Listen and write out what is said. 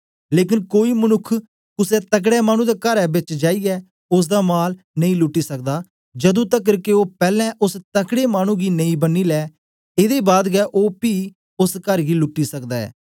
लेकन कोई मनुक्ख कुसे तकड़े मानु दे करै बेच जाईयै ओसदा माल नेई लूटी सकदा जदू तकर के ओ पैलैं ओस तकड़े मानु गी नेई बन्नी लै एदे बाद गै ओ पी ओस कर गी लूटी सकदा ऐ